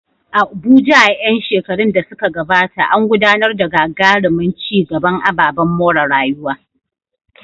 Abuja, a ƴan shekarun da suka gabata, an gudanar da gagarumin ci gaban ababen more rayuwa.